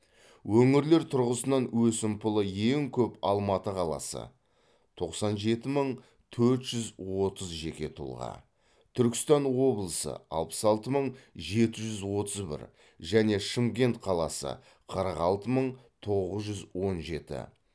өңірлер тұрғысынан өсімпұлы ең көп алматы қаласы тоқсан жеті мың төрт жүз отыз жеке тұлға түркістан облысы алпыс алты мың жеті жүз отыз бір және шымкент қаласы қырық алты мың тоғыз жүз он жеті